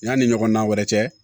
Yanni ɲɔgɔnna wɛrɛ cɛ